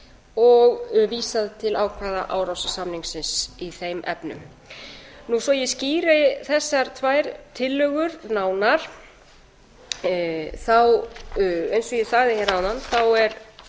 og vísað til ákvæða árósasamningsins í þeim efnum svo að ég skýri þessar tvær tillögur nánar þá eins og ég sagði hér áðan er